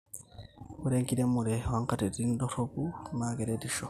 ore enkiremore oonkatitin doropu naa keretisho